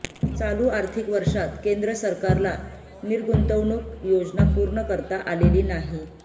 चालू आर्थिक वर्षात केंद्र सरकारला निर्गुंतवणूक योजना पूर्ण करता आलेली नाही